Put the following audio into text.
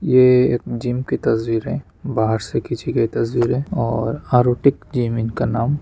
यह एक जिम की तस्वीर है बाहर से किसी के तस्वीर है और आरोटिक जिम इनका नाम--